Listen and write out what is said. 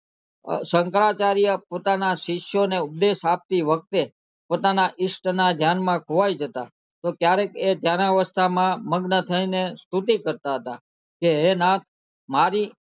શંકરાચાર્ય પોતાના શિષ્યો ને ઉપદેશ આપતે વખતે પોતાના ઇષ્ટ ના ધ્યાન માં ખોવાય જતા તો ત્યારે એ જયારે અવસ્થા માં મગ્ન થઈને સ્તુતિ કરતા હતા હે નાથ મારી